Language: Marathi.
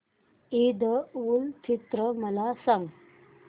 ईद उल फित्र मला सांग